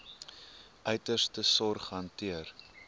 uiterste sorg hanteer